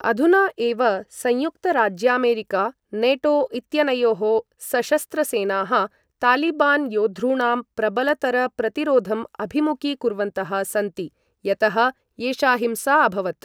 अधुना एव संयुक्तराज्यामेरिका नेटो इत्यनयोः सशस्त्रसेनाः तालिबान् योद्धॄणां प्रबलतरप्रतिरोधम् अभिमुखीकुर्वन्तः सन्ति यतः एषा हिंसा अभवत्।